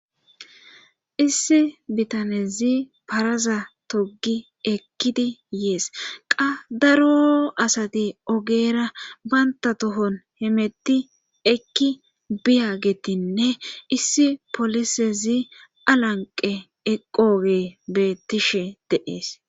Issi bitanezi paraza togi ekkidi yees qa daro asati ogeera banta tohon hemetti ekki biya gettinne issi polisezi alanqe eqooge beettishe deees.